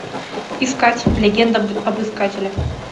искать легенда об искателе